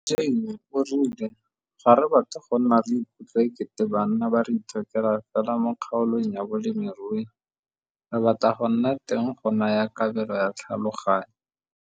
Mme Jane o rile - 'Ga re batle go nna re ikutlwa e kete banna ba re itshokela fela mo kgaolong ya bolemirui, re batla go nna teng go naya kabelo ya tlhaloganyo'.